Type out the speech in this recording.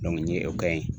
n ye o kɛ yen